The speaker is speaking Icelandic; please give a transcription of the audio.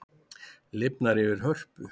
Lifnar yfir Hörpu